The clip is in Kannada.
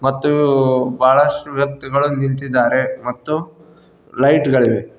ಮತ್ತು ಬಹಳಷ್ಟು ವ್ಯಕ್ತಿಗಳು ನಿಂತಿದ್ದಾರೆ ಮತ್ತು ಲೈಟ್ ಗಳಿವೆ.